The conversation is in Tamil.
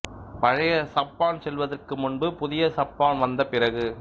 பழைய சப்பான் செல்வதற்கு முன்பு புதிய சப்பான் வந்த பிறகு